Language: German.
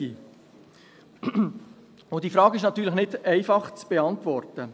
Und diese Frage ist natürlich nicht einfach zu beantworten.